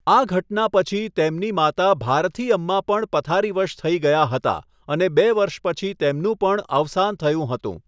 આ ઘટના પછી તેમની માતા ભારથીઅમ્મા પણ પથારીવશ થઈ ગયા હતા અને બે વર્ષ પછી તેમનું પણ અવસાન થયું હતું.